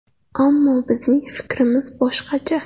Ammo bizning fikrimiz boshqacha.